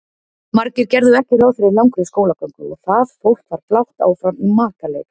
Margir gerðu ekki ráð fyrir langri skólagöngu og það fólk var blátt áfram í makaleit.